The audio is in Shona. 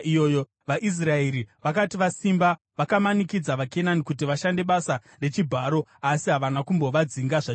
VaIsraeri vakati vasimba vakamanikidza vaKenani kuti vashande basa rechibharo asi havana kumbovadzinga zvachose.